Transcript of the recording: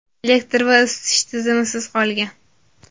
elektr va isitish tizimisiz qolgan.